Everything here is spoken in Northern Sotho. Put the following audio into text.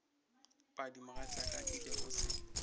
padi mogatšaka nke o se